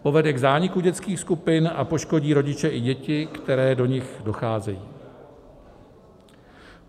Povede k zániku dětských skupin a poškodí rodiče i děti, které do nich docházejí.